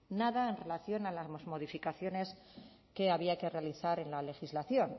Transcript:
nada en relación a las modificaciones que había que realizar en la legislación